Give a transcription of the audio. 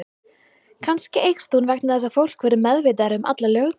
Kannski eykst hún vegna þess að fólk verður meðvitaðra um alla löggæslu.